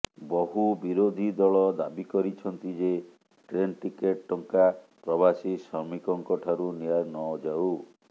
ବହୁ ବିରୋଧୀ ଦଳ ଦାବି କରିଛନ୍ତି ଯେ ଟ୍ରେନ୍ ଟିକେଟ୍ ଟଙ୍କା ପ୍ରବାସୀ ଶ୍ରମିକଙ୍କଠାରୁ ନିଆନଯାଉ